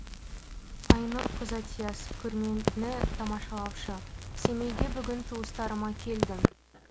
айнұр козатьяс көрмені тамашалаушы семейге бүгін туыстарыма келдім